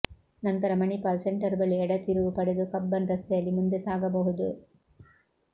ನಂತರ ಮಣಿಪಾಲ್ ಸೆಂಟರ್ ಬಳಿ ಎಡ ತಿರುವು ಪಡೆದು ಕಬ್ಬನ್ ರಸ್ತೆಯಲ್ಲಿ ಮುಂದೆ ಸಾಗಬಹುದು